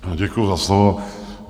Děkuju za slovo.